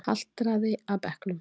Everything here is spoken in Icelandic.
Haltraði að bekknum.